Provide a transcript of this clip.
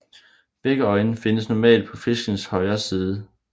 Begge øjne findes normalt på fiskens højre side